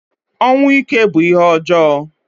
Ọnwụ ike bu ihé ọjọọ.